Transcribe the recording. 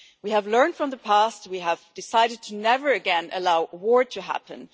We have learned from the past, and we have decided never again to allow war to happen.